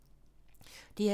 DR2